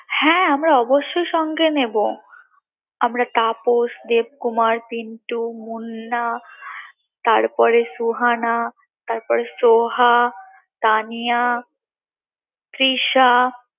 হ্যাঁ আমরা অবশই সঙ্গে নেবো আমরা তাপস, দেবকুমার, পিন্টু, মুন্না তারপরে সুহানা তারপরে সোহা, তানিয়া, তৃষা